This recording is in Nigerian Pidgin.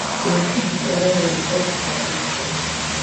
dem put di oda one up for adoption